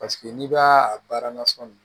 Paseke n'i b'a a baara nasɔn